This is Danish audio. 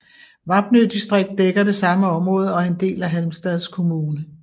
Vapnø distrikt dækker det samme område og er en del af Halmstads kommun